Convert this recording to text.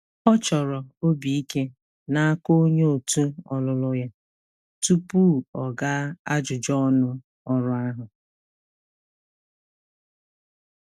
Ọ chọrọ obi ike n'aka onye òtù ọlụlụ ya tupu ọ gaa ajụjụ ọnụ ọrụ ahụ.